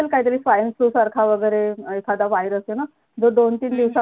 इथं पण काहीतरी swine flu सारखा वगैरे एखादा virus ए ना दर दोन तीन दिवसा